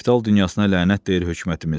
Kapital dünyasına lənət deyir hökumətimiz.